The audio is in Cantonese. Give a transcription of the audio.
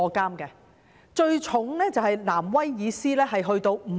刑罰最重的是新南威爾斯，刑期達5年。